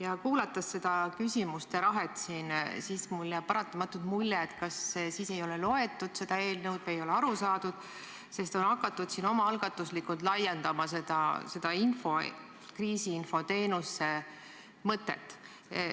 Aga kuulates seda küsimuste rahet, jääb mulle paratamatult mulje, et seda eelnõu ei ole loetud või ei ole sellest aru saadud, sest siin saalis on omaalgatuslikult hakatud laiendama kriisiinfo teenuse mõtet.